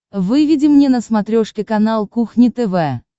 выведи мне на смотрешке канал кухня тв